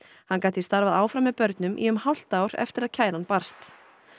hann gat því starfað áfram með börnum í um hálft ár eftir að kæran barst